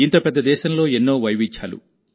ఇంత పెద్ద దేశంలో ఎన్నో వైవిధ్యాలు